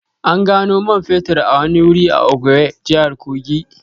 An gano man fetur a wani wuri a Okengwe, jihar Kogi